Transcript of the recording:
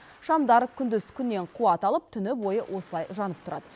шамдар күндіз күннен қуат алып түні бойы осылай жанып тұрады